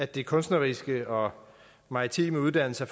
de kunstneriske og maritime uddannelser